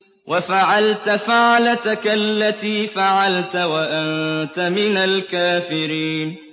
وَفَعَلْتَ فَعْلَتَكَ الَّتِي فَعَلْتَ وَأَنتَ مِنَ الْكَافِرِينَ